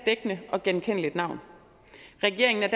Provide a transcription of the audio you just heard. dækkende og genkendeligt navn regeringen er